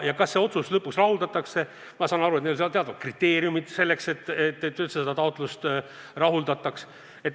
Kas see otsus lõpuks rahuldatakse – ma saan aru, et on teatud kriteeriumid, et see taotlus üldse rahuldataks.